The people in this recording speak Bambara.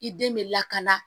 I den bɛ lakana